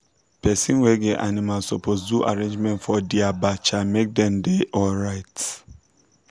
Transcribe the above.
person wey get animal suppose do arrangement for dia bacha make dem da alright